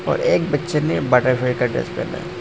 और एक बच्चे ने बटरफ्लाई का ड्रेस पहना है।